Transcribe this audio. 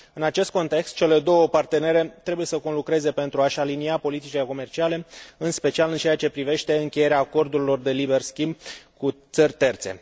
În acest context, cele două partenere trebuie să conlucreze pentru a și alinia politicile comerciale, în special în ceea ce privește încheierea acordurilor de liber schimb cu țări terțe.